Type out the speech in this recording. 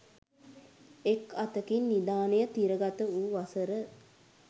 එක් අතකින් නිධානය තිරගත වූ වසර